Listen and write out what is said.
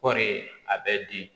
Kɔɔri a bɛ di